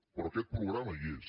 però aquest programa hi és